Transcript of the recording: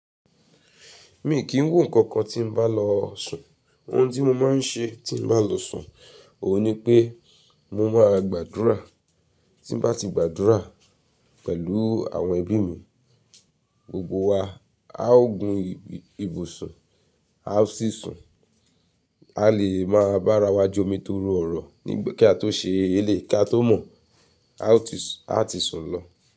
Mi kì í wo ǹkan kan tí n bá lọ sùn. Ohun tí mo máa ń ṣe tí n bá lọ sùn, òhun ni pé mo máa gbàdúrà. Tí n bá ti gbàdúrà pẹ̀lú àwọn ẹbí mi, gbogbo wa á o gun ibùsùn, a ó sì sùn. A lè máa bá ara wa jomi torí ọ̀rọ̀ nígbà kí a tó ṣe elé, kí a tó mọ̀, a ó ti sùn a ti sùn lọ.